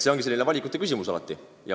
See ongi valikute küsimus.